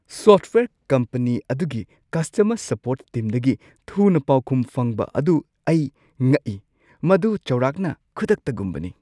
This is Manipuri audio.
ꯁꯣꯐꯠꯋꯦꯌꯔ ꯀꯝꯄꯅꯤ ꯑꯗꯨꯒꯤ ꯀꯁꯇꯃꯔ ꯁꯄꯣꯔꯠ ꯇꯤꯝꯗꯒꯤ ꯊꯨꯅ ꯄꯥꯎꯈꯨꯝ ꯐꯪꯕ ꯑꯗꯨ ꯑꯩ ꯉꯛꯏ꯫ ꯃꯗꯨ ꯆꯥꯎꯔꯥꯛꯅ ꯈꯨꯗꯛꯇꯒꯨꯝꯕꯅꯤ !